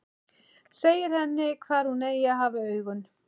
Segir henni hvar hún eigi að hafa augun.